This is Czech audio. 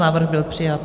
Návrh byl přijat.